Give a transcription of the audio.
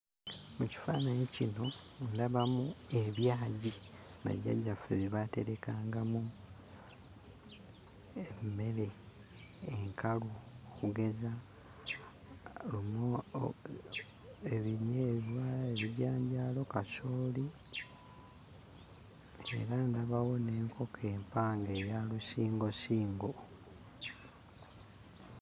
Mu kifaananyi kino ndabamu ebyagi bajjajjaffe bye baaterekangamu emmere enkalu okugeza lumo, ebinyeebwa, ebijanjaalo, kasooli, era ndabawo n'enkoko empanga eya lusingosingo.